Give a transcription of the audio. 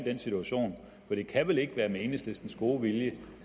den situation for det kan vel ikke være med enhedslistens gode vilje